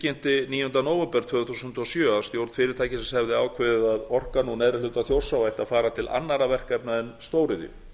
tilkynnti níunda nóvember tvö þúsund og sjö að stjórn fyrirtækisins hefði ákveðið að orkan úr neðri hluta þjórsár ætti að fara til annarra verkefna en stóriðju